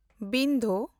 ᱵᱤᱱᱫᱷᱚ